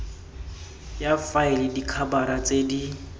ya faele dikhabara tse di